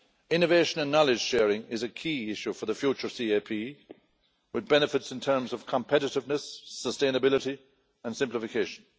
Innovation and knowledge sharing is a key issue for the future CAP, with benefits in terms of competitiveness, sustainability and simplification.